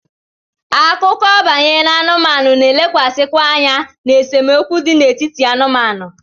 Akụkọ banyere anụmanụ na-elekwasịkwa anya na esemokwu dị n'etiti anụmanụ.